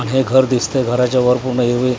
हे घर दिसतंय घराच्या वर --